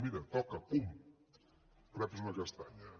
mira toca pum reps una castanya